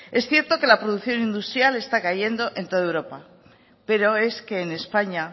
es cierto que la producción industrial está cayendo en todo europa pero es que en españa